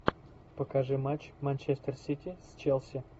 покажи матч манчестер сити с челси